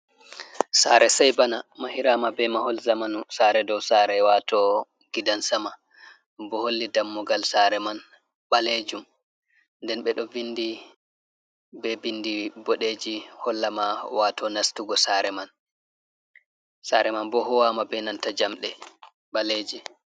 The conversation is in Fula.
Sare sai bana, mahirama be mahol zamanu sare dou sare wato gidansama, bo holli dammugal sare man ɓalejum nden beɗo vindi be bindi boɗeji hollama wato nastugo sare man, sare man bo huwama benanta jamɗe ɓaleji.